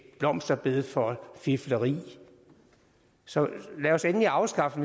blomsterbed for fifleri så lad os endelig afskaffe